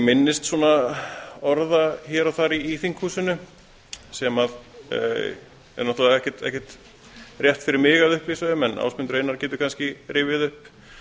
minnist orða hér og þar í þinghúsinu sem er ekkert rétt fyrir mig að upplýsa um en ásmundur einar getur kannski rifjað upp